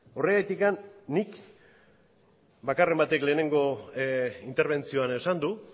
horregatik nik bakarren batek lehenengo interbentzioan esan du